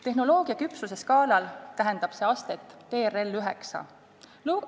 Tehnoloogia küpsuse skaalal tähendab see astet TRL 9.